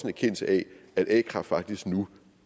erkendelse af at a kraft faktisk nu